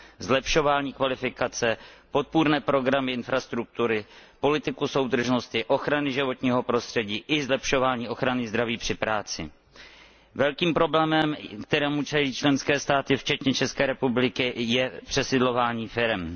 zlepšování kvalifikace, podpůrných programů infrastruktury, politiky soudržnosti, ochrany životního prostředí i zlepšování ochrany zdraví při práci. Velkým problémem, kterému čelí členské státy včetně České republiky, je přesídlování firem.